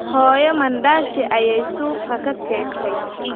Hooyo mandaasi ayay suuqa ka keentay